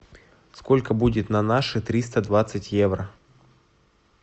сколько будет на наши триста двадцать евро